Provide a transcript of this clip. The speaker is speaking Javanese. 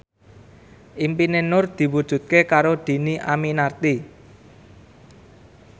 impine Nur diwujudke karo Dhini Aminarti